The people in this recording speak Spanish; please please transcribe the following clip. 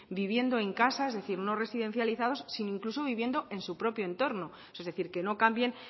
viviendo en casa es decir no residencializados sino incluso viviendo en su propio entorno es decir que no cambien